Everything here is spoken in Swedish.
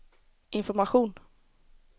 information